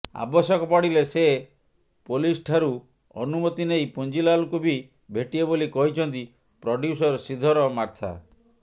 ଆବଶ୍ୟକ ପଡ଼ିଲେ ସେ ପୋଲିସ୍ଠାରୁ ଅନୁମତି ନେଇ ପୁଞ୍ଜିଲାଲଙ୍କୁ ବି ଭେଟିବେ ବୋଲି କହିଛନ୍ତି ପ୍ରଡ୍ୟୁସର ଶ୍ରୀଧର ମାର୍ଥା